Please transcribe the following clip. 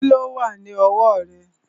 Kíló wà ní ọwọ́ rẹ̀?